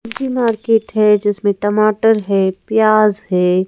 ये मार्केट है जिसमें टमाटर है प्याज है।